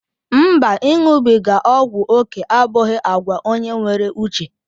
Mba, iṅụbiga ọgwụ oké abụghị àgwà onye nwere uche.